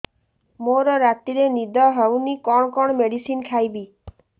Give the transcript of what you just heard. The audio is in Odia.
ମୋର ରାତିରେ ନିଦ ହଉନି କଣ କଣ ମେଡିସିନ ଖାଇବି